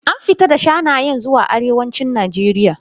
An fita da shanayen zuwa arewacin Najeriya.